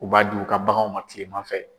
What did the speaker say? U b'a d'u ka baganw ma kilema fɛ